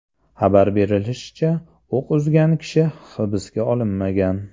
Xabar berilishicha, o‘q uzgan kishi hibsga olinmagan.